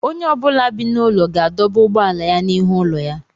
Onye ọ bụla bi n'ụlọ ga-adọba ụgbọala ya n'ihu ụlọ ya.